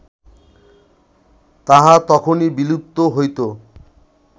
তাহা তখনই বিলুপ্ত হইত